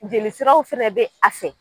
Jelisiraw fɛnɛ bɛ a fɛ.